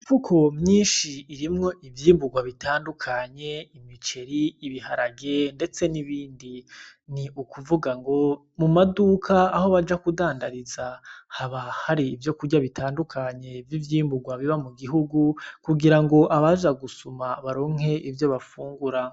Imifuko myinshi irimwo ivyimburwa bitandukanye: imiceri, ibiharage ndetse nibindi. Ni ukuvuga ngo mu maduka aho baja kudandariza haba hari ivyokurya bitandukanye vy'ivyimburwa biba mu gihugu kugira ngo abaja gusuma baronke ivyo bafungura.